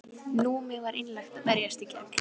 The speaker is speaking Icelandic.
Númi var einlægt að berjast gegn.